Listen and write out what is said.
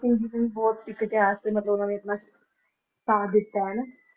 ਸਿੰਘ ਜੀ ਨੇ ਵੀ ਬਹੁਤ ਸਿੱਖ ਇਤਿਹਾਸ ਤੇ ਮਤਲਬ ਉਹਨਾਂ ਨੇ ਇੰਨਾ ਸਾਥ ਦਿੱਤਾ ਹੈ ਨਾ।